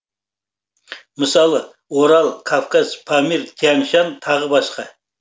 мысалы орал кавказ памир тянь шань тағы басқа